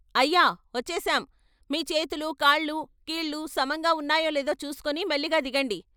అయ్యా వచ్చేసాం మీ చేతులూ కాళ్ళూ, కీళ్ళు సమంగా ఉన్నాయో లేదో చూసుకొని మెల్లిగా దిగండి.